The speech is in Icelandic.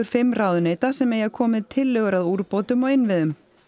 fimm ráðuneyta sem eigi að koma með tillögur að úrbótum á innviðum